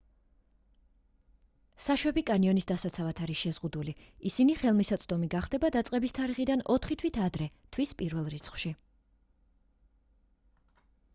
საშვები კანიონის დასაცავად არის შეზღუდული ისინი ხელმისაწვდომი გახდება დაწყების თარიღიდან ოთხი თვით ადრე თვის პირველ რიცხვში